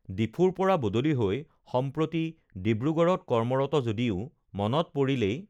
ডিফুৰ পৰা বদলি হৈ সম্প্ৰতি ডিব্ৰুগড়ত কৰ্মৰত যদিও মনত পৰিলেই